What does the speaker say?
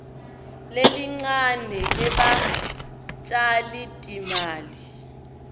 lelincane lebatjali timali